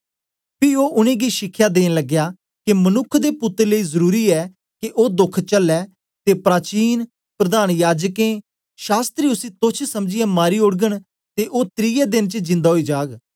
पी ओ उनेंगी शिखया देन लगया के मनुक्ख दे पुत्तर लेई जरुरी ऐ के ओ दोख चलया ते प्राचीन प्रधान याजकें शास्त्री उसी तोच्छ समझीयै मारी ओड़गन ते ओ त्रिये देन च जिन्दा ओई जाग